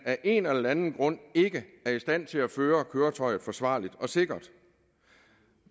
af en eller anden grund ikke er i stand til at føre køretøjet forsvarligt og sikkert